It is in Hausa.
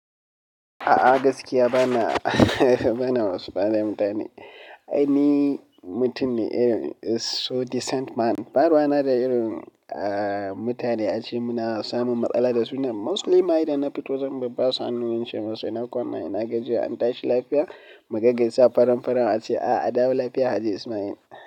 A'a gaskiya bana huhh bana wasuka da mutane. Ai ni mutum ne irin, so decent man. Ba ruwana da irin a mutane ace muna samun matsala da su nan mostly ma idan na fito zan bar basu hannu ince musu ina kwana ina gajiya an tashi lafiya mu gaggaisa faran-faran ace a'a dawo lafiya Haji Ismail.